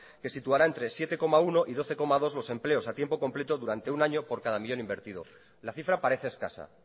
que situará entre siete coma uno y doce coma dos los empleos a tiempo completo durante un año por cada millón invertido la cifra parece escasa